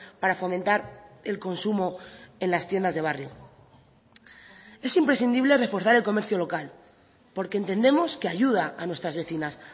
para fomentar el consumo en las tiendas de barrio es imprescindible reforzar el comercio local porque entendemos que ayuda a nuestras vecinas